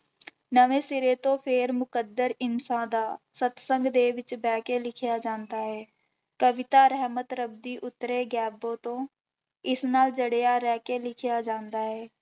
ਨਵੇਂ ਸਿਰੇ ਤੋਂ ਫਿਰ ਮੁਕੱਦਰ ਇਨਸਾ ਦਾ ਸਤਿਸੰਗ ਦੇ ਬਹਿ ਕੇ ਲਿਖਿਆ ਜਾਂਦਾ ਹੈ, ਕਵਿਤਾ ਰਹਿਮਤ ਰੱਬ ਦੀ ਉਤਰੇ ਗੈਬੋ ਤੋਂ ਇਸ ਨਾਲ ਜੜਿਆ ਰਹਿ ਕੇ ਲਿਖਿਆ ਜਾਂਦਾ ਹੈ।